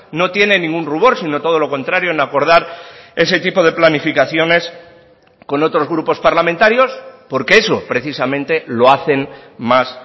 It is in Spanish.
no tiene ningún rubor sino todo lo contrario en acordar ese tipo de planificaciones con otros grupos parlamentarios porque eso precisamente lo hacen más